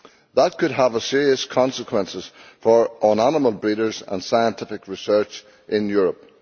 That could have serious consequences for animal breeders and scientific research in Europe.